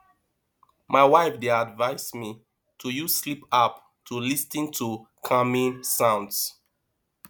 my wife dey advise me to use sleep app to lis ten to calming sounds